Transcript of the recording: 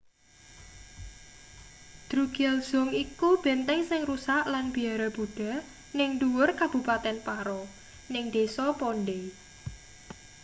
drukgyal dzong iku benteng sing rusak lan biara buddha ning ndhuwur kabupaten paro ning desa phondey